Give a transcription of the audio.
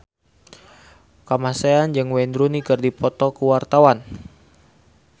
Kamasean jeung Wayne Rooney keur dipoto ku wartawan